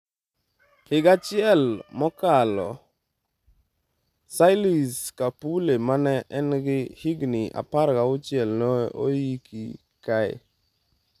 Higa achiel mokalo Phylis Kapule mane en gi higni 16 ne oiki kae.